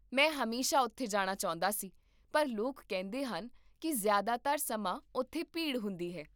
ਮੈਂ ਹਮੇਸ਼ਾ ਉੱਥੇ ਜਾਣਾ ਚਾਹੁੰਦਾ ਸੀ, ਪਰ ਲੋਕ ਕਹਿੰਦੇ ਹਨ ਕਿ ਜ਼ਿਆਦਾਤਰ ਸਮਾਂ ਉੱਥੇ ਭੀੜ ਹੁੰਦੀ ਹੈ